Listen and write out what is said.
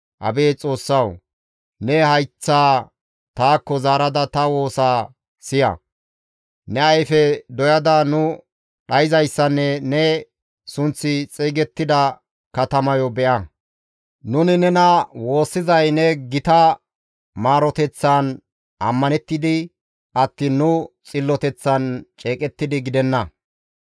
Abeet Xoossawu! Ne hayththaa taakko zaarada ta woosaa siya; ne ayfe doy7ada nu dhayzayssanne ne sunththi xeygettida katamayo be7a; Nuni nena woossizay ne gita maaroteththaan ammanettidi attiin nu xilloteththan ceeqettidi gidenna.